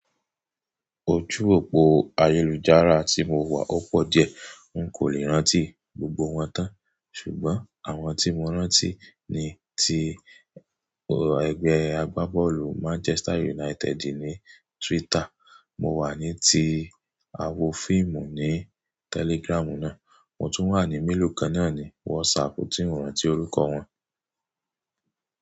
Ojú òpó ayélujára tí mo wà ó pọ̀ diẹ, n kò lè rántí gbogbo wọn tán, ṣùgbọ́n àwọn tí mo rántí ni ti ẹgbẹ́ agbábọ́ọ̀lù Manchester United ní Twitter, mo wà ní ti àwo fíìmù ní Telegram náà, mo tún wà ní mélòó kan náà ní WhatsApp tí n rántí orúkọ wọn.